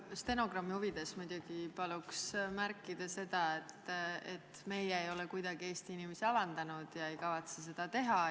Stenogrammi huvides muidugi paluks märkida seda, et meie ei ole kuidagi Eesti inimesi alandanud ega kavatse seda teha.